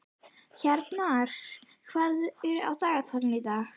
Hjarnar, hvað er á dagatalinu í dag?